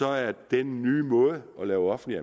er den nye måde at lave offentlig